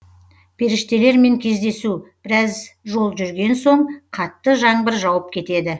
періштелермен кездесу біраз жол жүрген соң қатты жаңбыр жауып кетеді